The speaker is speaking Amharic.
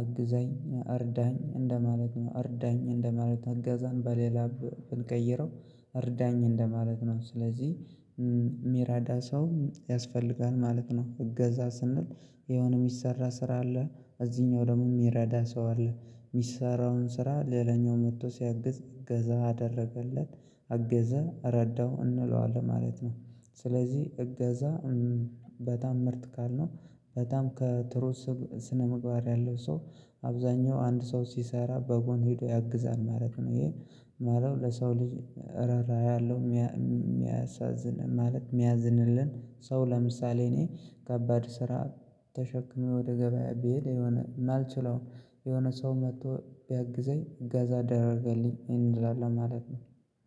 አግዘኝ እርዳኝ እንደማለት ነው። ርዳኝ እንደማለት አገዛን በሌላ ብንቀይረው እርዳኝ እንደማለት ነው። ስለዚህ የሚረዳ ሰው ያስፈልጋል ማለት ነው። እገዛ ስንል የሆነ የሚሰራ ስራ አለ እዚህኛው ደግሞ የሚረዳ ሰው አለ የሚሰራውን ስራ ሌላኛው መጥቶ ሲያግዝ እገዛ አደረገለት አገዘ ረዳው እንለዋለን ማለት ነው። ስለዚህ እገዛ በጣም ምርት ቃል ነው። በጣም ጥሩ ስነምግባር ያለው ሰው አብዛኛው አንድ ሰው ሲሰራ በጎን ሄዶ ያግዛል ማለት ነው። ይሄ ማለት ለሰው ልጅ ረራ ያለው የሚያሳዝን ማለት የሚያዝንልን ሰው ለምሳሌ እኔ ከባድ ስራ ተሸክሜ ወደ ገበያ ብሄድ የሆነ አልችለውም የሆነ ሰው መጥቶ ቢያግዘኝ ገዛ ደረገልኝ ይሄን እንድላለን ማለት ነው።